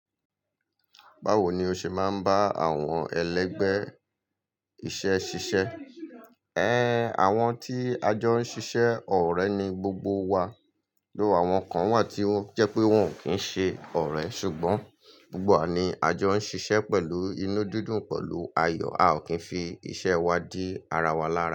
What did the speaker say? Báwo ni o ṣe máa ń bá àwọn ẹlẹgbẹ́ iṣẹ́ ṣiṣẹ́? Ẹn, àwọn tí a jọ ń ṣiṣẹ́ ọ̀rẹ́ ni gbogbo wa, dóo àwọn kan wà tí ó ń jẹ́ pé wọ́n ò kí ń ṣe ọ̀rẹ́ ṣùgbọ́n gbogbo wa ni a jọ ń ṣiṣẹ́ pẹ̀lú inú dídùn pẹ̀lú ayọ̀, a ò kí ń fi iṣẹ́ wa di ara wa lára.